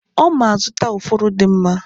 Oma azụta ufuru di mma.